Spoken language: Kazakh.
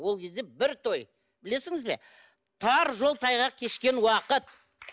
ол кезде бір той білесіңіз бе тар жол тайғақ кешкен уақыт